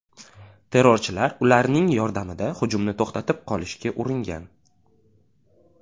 Terrorchilar ularning yordamida hujumni to‘xtatib qolishga uringan.